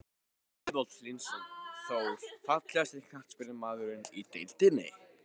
Ágúst Eðvald Hlynsson, Þór.Fallegasti knattspyrnumaðurinn í deildinni?